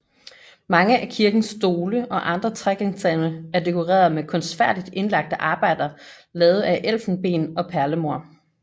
Mange af kirkens stole og andre trægenstande er dekoreret med kunstfærdigt indlagte arbejder lavet af elfenben og perlemor